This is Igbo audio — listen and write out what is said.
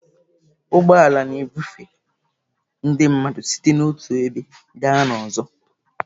Ụgbọ ala na-ebufe ndị mmadụ site n'otu ebe gaa n'ọzọ.